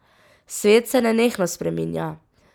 Svet se nenehno spreminja.